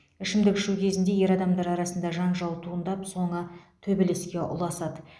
ішімдік ішу кезінде ер адамдар арасында жанжал туындап соңы төбелеске ұласады